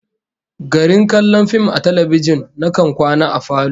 Garin kallon fim a talbijin, nakan kwana a falo